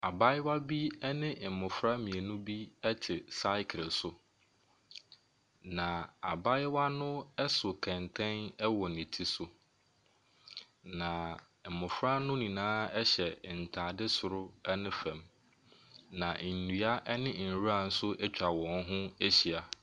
Abaayewa bi ne mmofra mmienu bi te cycle so. Na abaayewa so kɛntɛn wɔ ti so. Na Mmofra no nyinaa hyɛ ntaaade soro ne fam. Na nnua ne nwurw atwa wɔn ho ahyia.